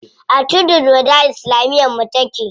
A tudun wada islamiyar mu take.